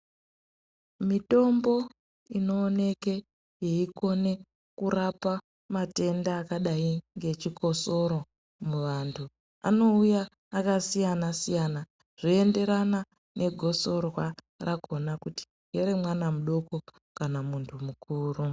Mitombo inooneke yeikone kurapa matenda akadai ngechikosoro muvantu anouya akasiyana-siyana. Zvoenderana negosorwa rakona kuti ngeremwana mudoko kana muntu mukuru.